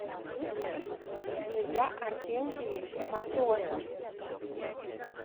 илья арсентьевич матросов